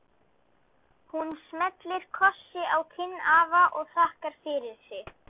Hún smellir kossi á kinn afa og þakkar fyrir sig.